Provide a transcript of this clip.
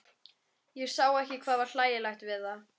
Ég sá ekki hvað var hlægilegt við það.